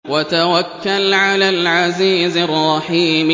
وَتَوَكَّلْ عَلَى الْعَزِيزِ الرَّحِيمِ